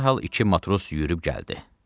Dərhal iki matros yürüyüb gəldi.